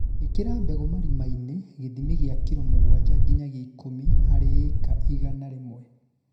Īkĩra mbegũ marima-inĩ gĩthimi kĩa kiro mũgwanja nginyagia ikũmi harĩ ĩka igana rĩmwe